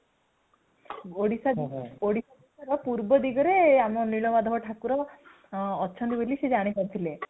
ଓଡିଶା ଦେଶର ପୂର୍ବ ଦିଗରେ, ଆମର ନୀଳମାଧବ ଠାକୁର ଅଛନ୍ତି ବୋଲି ସେ ଜାଣି ପାରିଥିଲେ